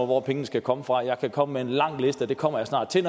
hvor pengene skal komme fra jeg kan komme med en lang liste og det kommer jeg snart til